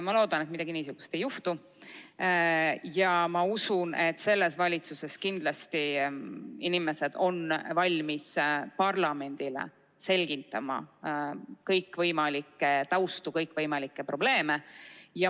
Ma loodan, et midagi niisugust ei juhtu, ja ma usun, et selles valitsuses kindlasti inimesed on valmis parlamendile selgitama kõikvõimalikke taustu, kõikvõimalikke probleeme.